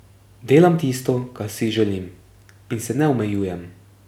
Delam tisto, kar si želim, in se ne omejujem.